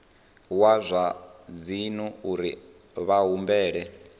wa zwa dzinnu uri vhahumbeli